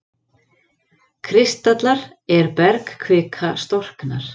kristallar er bergkvika storknar.